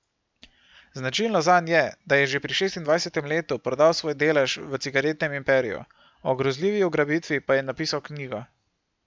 Značilno zanj je, da je že pri šestindvajsetem letu prodal svoj delež v cigaretnem imperiju, o grozljivi ugrabitvi pa je napisal knjigo.